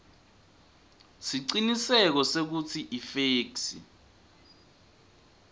siciniseko sekutsi ifeksi